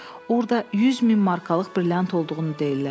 orada 100 min markalıq brilyant olduğunu deyirlər.